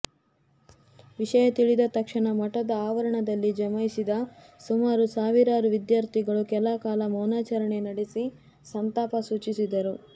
ವಿಷಯ ತಿಳಿದ ತಕ್ಷಣ ಮಠದ ಆವರಣದಲ್ಲಿ ಜಮಾಯಿಸಿದ ಸುಮಾರು ಸಾವಿರಾರು ವಿದ್ಯಾರ್ಥಿಗಳು ಕೆಲಕಾಲ ಮೌನಚರಣೆ ನಡೆಸಿ ಸಂತಾಪ ಸೂಚಿಸಿದರು